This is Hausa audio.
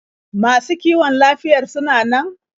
Masu kiwon lafiyar suna nan?